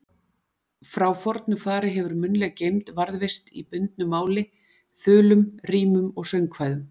Frá fornu fari hefur munnleg geymd varðveist í bundnu máli, þulum, rímum og söngkvæðum.